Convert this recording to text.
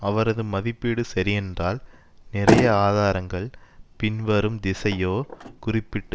அவரது மதிப்பீடு சரியென்றால் நிறைய ஆதாரங்கள் பின்வரும் திசையோ குறிப்பிட்டு